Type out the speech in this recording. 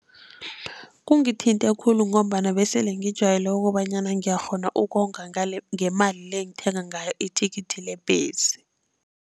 Kungithinte khulu ngombana besele ngijwayele ukobanyana ngiyakghona ukonga ngemali le engithenga ngayo ithikithi lebhesi.